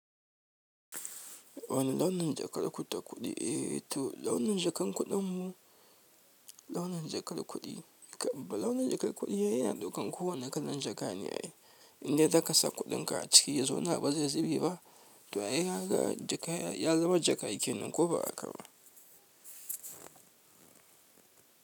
Wane launin jakar ku ta kuɗi eh? To launin jakan kuɗin mu, launin jakar kuɗi. Kam bala'i launin jakar kuɗi yana ɗaukan kowane kalan jaka ne. Inda zaka sa kuɗinka a ciki yazo na ba zai zube ba. To ai haka jaka ya zubar jaka yake nan ko ba a haka ba.